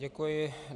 Děkuji.